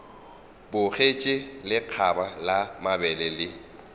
bogetše lekgaba la mabele le